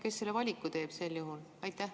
Kes selle valiku teeb sel juhul?